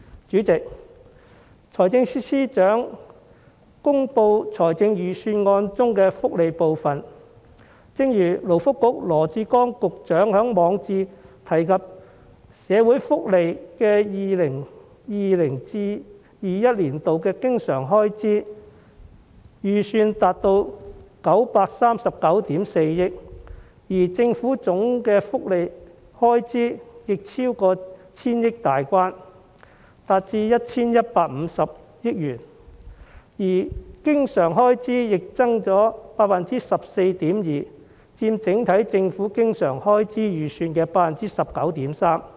主席，在財政司司長公布預算案中的福利部分，正如勞工及福利局局長羅致光在其網誌中提到 ，2020-2021 年度社會福利經常開支預算達到939億 4,000 萬元，而政府的總福利開支亦超過千億元大關，達至 1,150 億元，經常開支增幅亦達到 14.2%， 佔整體政府經常開支預算的 19.3%。